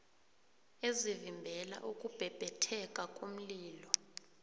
ezivimbela ukubhebhetheka komlilo